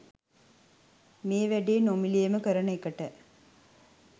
මේ වැඩේ නොමිලේම කරන එකට.